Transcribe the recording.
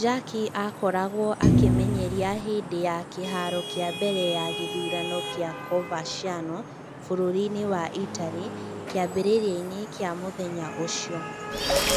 Jarque aakoragwo akĩmenyeria hĩndĩ ya kĩhaaro kĩa mbere ya gĩthurano kĩa Coverciano bũrũri-inĩ wa Italy kĩambĩrĩria-inĩ kĩa mũthenya ũcio.